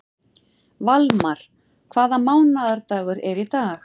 Valmar, hvaða mánaðardagur er í dag?